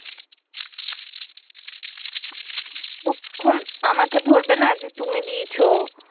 তখন আমাকে ধরবে না যে তুমি দিয়েছো